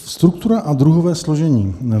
Struktura a druhové složení.